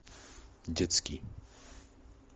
детский